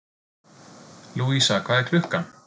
Lúísa, hvað er klukkan?